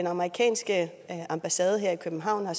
amerikanske ambassade her i københavn har